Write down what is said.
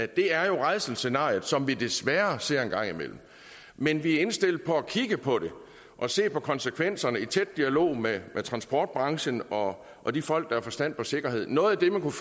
det er jo rædselsscenariet som vi desværre ser en gang imellem men vi er indstillet på at kigge på det og se på konsekvenserne i tæt dialog med transportbranchen og og de folk der har forstand på sikkerhed noget af det man kunne